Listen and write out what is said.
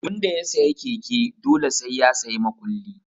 Tun da ya sayi keke, dole sai ya sayi makulli